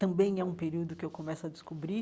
Também é um período que eu começo a descobrir